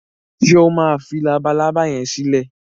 ṣe o má fí Labalábá yén silẹ?